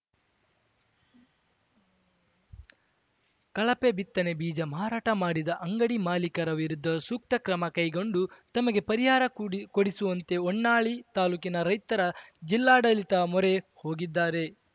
ಕಳಪೆ ಬಿತ್ತನೆ ಬೀಜ ಮಾರಾಟ ಮಾಡಿದ ಅಂಗಡಿ ಮಾಲೀಕರ ವಿರುದ್ಧ ಸೂಕ್ತ ಕ್ರಮ ಕೈಗೊಂಡು ತಮಗೆ ಪರಿಹಾರ ಕೂಡಿ ಕೊಡಿಸುವಂತೆ ಹೊನ್ನಾಳಿ ತಾಲೂಕಿನ ರೈತರ ಜಿಲ್ಲಾಡಳಿತ ಮೊರೆ ಹೋಗಿದ್ದಾರೆ